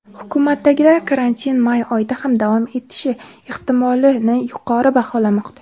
Hukumatdagilar karantin may oyida ham davom etishi ehtimolini yuqori baholamoqda.